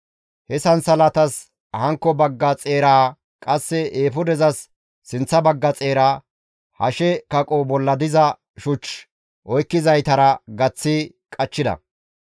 He sansalatatas hankko bagga xeeraa qasse eefudezas sinththa baggara, hashe kaqo bolla diza shuch oykkizaytara gaththi qachchida.